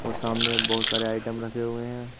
सामने बहुत सारे आइटम रखे हुए हैं।